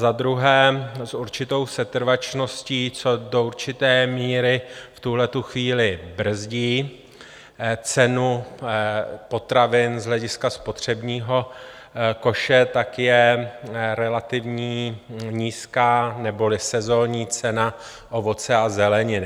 Za druhé, s určitou setrvačností, co do určité míry v tuhle chvíli brzdí cenu potravin z hlediska spotřebního koše, tak je relativně nízká neboli sezonní cena ovoce a zeleniny.